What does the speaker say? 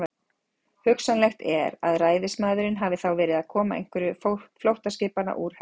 Hugsanlegt er, að ræðismaðurinn hafi þá verið að koma einhverju flóttaskipanna úr höfn.